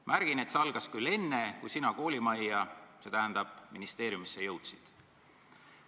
Märgin, et see algas küll enne, kui sina koolimajja, st ministeeriumisse jõudsid.